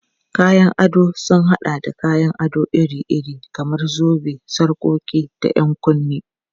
Kayan ado sun haɗa da kayan ado iri-iri kamar zobe, sarƙoƙi, da 'yan kunne.